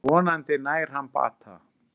Vonandi nær hann bata.